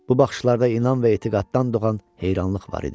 Bu baxışlarda inan və etiqaddan doğan heyranlıq var idi.